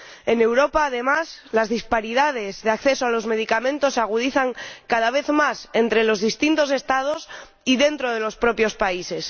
En Europa, además, las disparidades de acceso a los medicamentos se agudizan cada vez más entre los distintos Estados y dentro de los propios países.